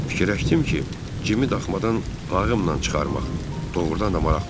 Fikirləşdim ki, cimi daxmadan lağımla çıxarmaq doğrudan da maraqlı olar.